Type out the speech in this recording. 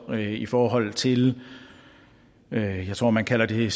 og i forhold til jeg tror man kalder det